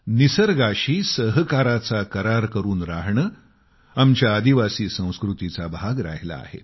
निसर्गाशी सहकार करार करून राहणे आमच्या आदिवासी संस्कृतीचा भाग राहिला आहे